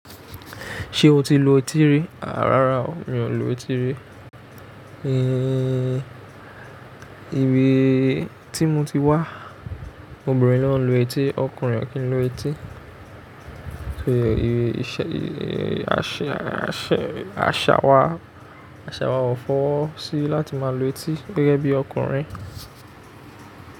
Ṣé o tí lù etí rí? À rárá o, mi ò lu etí rí. Ihín, ibi tí mo ti wá obìnrin ló ń lu etí Ọkùnrin o kì í lù etí. Ṣé ìrè, ìṣe, ìrè, àṣẹ, àṣà wá, àṣà wá ò fọ́ sí láti máa lu etí gẹ́gẹ́ bí ọkùnrin.